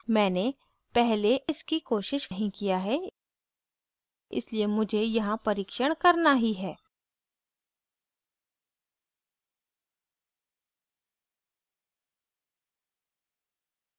मैंने पहले इसकी कोशिश नहीं किया है इसलिए मुझे यहाँ परीक्षण करना ही है